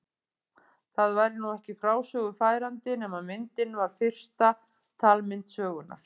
Það væri nú ekki frásögu færandi nema myndin var fyrsta talmynd sögunnar.